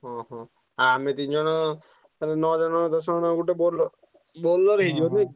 ହଁ ହଁ ଆଉ ଆମେ ତିନି ଜଣ ତାହେଲେ ନଅ ଜଣ ଦଶ ଜଣ ଗୋଟେ ବୋଲ Bolero ହେଇଯିବ ନୁହେଁ କି?